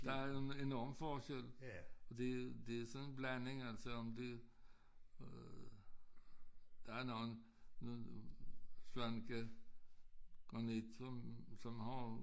Der er en enorm på forskel og det det sådan en blanding altså om det øh der er noget svanekegranit som som har